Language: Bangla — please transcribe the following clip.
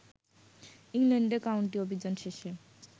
ইংল্যান্ডে কাউন্টি অভিযান শেষে